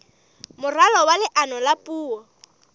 moralo wa leano la puo